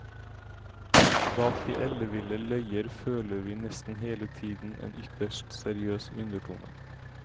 Bak de elleville løyer føler vi nesten hele tiden en ytterst seriøs undertone.